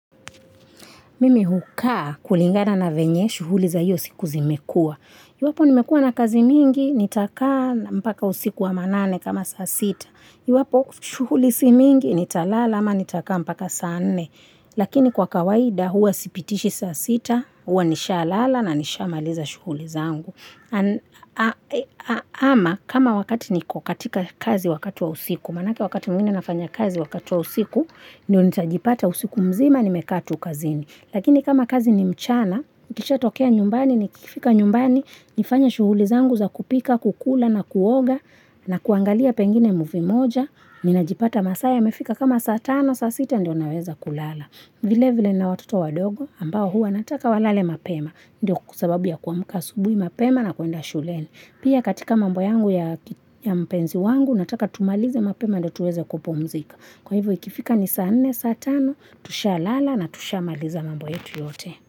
Mimi hukaa kulingana na venye shughuli za hiyo siku zimekua. Iwapo nimekua na kazi mingi, nitakaa mpaka usiku wa manane kama saa sita. Iwapo shughuli si mingi, nitalala ama nitakaa mpaka saa nne. Lakini kwa kawaida huwa sipitishi saa sita, huwa nishalala na nishamaliza shughuli za angu. Ama kama wakati niko katika kazi wakati wa usiku, maanake wakati mwingine nafanya kazi wakati wa usiku, ndio nitajipata usiku mzima nimekaa tu kazini. Lakini kama kazi ni mchana, niikishatokea nyumbani, nikifika nyumbani, nifanya shughuli zangu za kupika, kukula na kuoga, na kuangalia pengine muvi moja. Ninajipata masaa yamefika kama saa tano, saa sita ndio naweza kulala. Vile vile nina watoto wadogo, ambao hua nataka walale mapema, ndio sababu ya kuamuka asubui mapema na kuenda shuleni. Pia katika mambo yangu ya mpenzi wangu, nataka tumalize mapema ndio tuweze kupomzika. Kwa hivyo ikifika ni saa 4, saa 5, tushalala na tushamaliza mambo yetu yote.